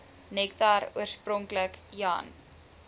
nektar oorspronklik jan